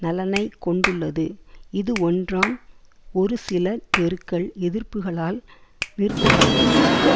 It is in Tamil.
நலனை கொண்டுள்ளது இது ஒன்றாம் ஒரு சில தெருக்கள் எதிர்ப்புக்களால் நிறுத்தப்பட முடியாது